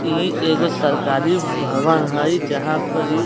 इ एगो सरकारी भवन हई जहाँ पर ई --